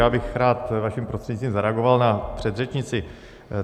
Já bych rád vaším prostřednictvím zareagoval na předřečnici.